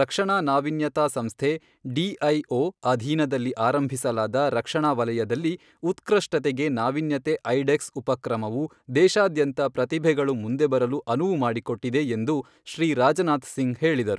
ರಕ್ಷಣಾ ನಾವೀನ್ಯತಾ ಸಂಸ್ಥೆ ಡಿಐಒ ಅಧೀನದಲ್ಲಿ ಆರಂಭಿಸಲಾದ ರಕ್ಷಣಾ ವಲಯದಲ್ಲಿ ಉತ್ಕೃಷ್ಟತೆಗೆ ನಾವೀನ್ಯತೆ ಐಡೆಕ್ಸ್ ಉಪಕ್ರಮವು ದೇಶಾದ್ಯಂತ ಪ್ರತಿಭೆಗಳು ಮುಂದೆ ಬರಲು ಅನುವು ಮಾಡಿಕೊಟ್ಟಿದೆ ಎಂದು ಶ್ರೀ ರಾಜನಾಥ್ ಸಿಂಗ್ ಹೇಳಿದರು.